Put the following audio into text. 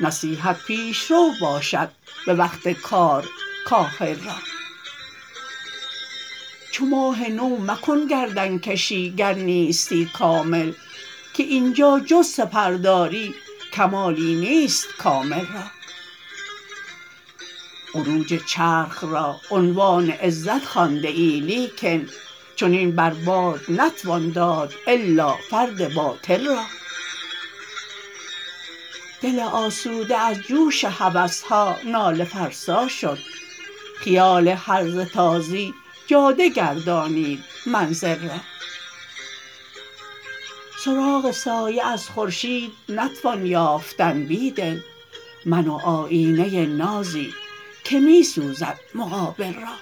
نصیحت پیشرو باشد به وقت کارکاهل را چو ماه نو مکن گردن کشی گر نیستی ن که اینجا جپ سعرداری کمالی نیست کاملرا عروج چرخ را عنوان عزت خوانده لیکن چنین بر باد نتوان داد الا فرد باطل را دل آسوده از جوش هوسها ناله فرسا شد خیال هرزه تازی جاده گردانید منزل را سرااغ سایه از خورشید نتوان یافتن بیدل من و آیینه نازی که می سوزد مقابل را